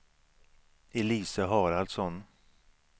Elise Haraldsson